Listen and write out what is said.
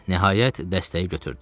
Nəhayət, dəstəyi götürdü.